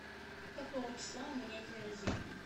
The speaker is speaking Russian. какого числа у меня день рождения